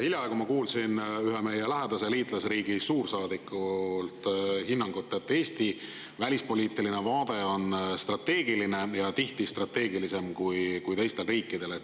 Hiljaaegu ma kuulsin ühe meie lähedase liitlasriigi suursaadikult hinnangut, et Eesti välispoliitiline vaade on strateegiline ja tihti strateegilisem kui teistel riikidel.